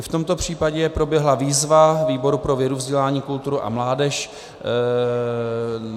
I v tomto případě proběhla výzva výboru pro vědu, vzdělání, kulturu a mládež.